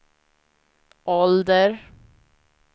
ålder